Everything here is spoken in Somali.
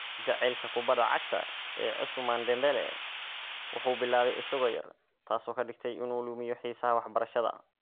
Jaceylka kubadda cagta ee Ousmane Dembélé wuxuu bilaabay isagoo yar, taasoo ka dhigtay inuu lumiya xiisaha waxbarashada.